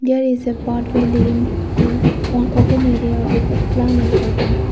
there is a path way leaving to one open area with plan in curtain.